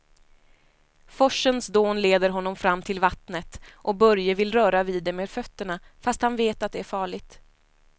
Forsens dån leder honom fram till vattnet och Börje vill röra vid det med fötterna, fast han vet att det är farligt.